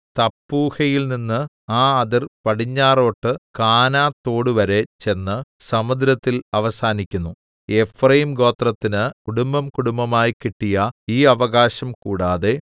തപ്പൂഹയിൽനിന്ന് ആ അതിർ പടിഞ്ഞാറോട്ട് കാനാതോടുവരെ ചെന്ന് സമുദ്രത്തിൽ അവസാനിക്കുന്നു എഫ്രയീംഗോത്രത്തിന് കുടുംബംകുടുംബമായി കിട്ടിയ ഈ അവകാശം കൂടാതെ